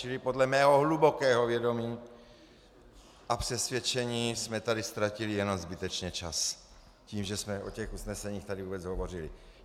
Čili podle mého hlubokého vědomí a přesvědčení jsme tady ztratili jenom zbytečně čas tím, že jsme o těch usneseních tady vůbec hovořili.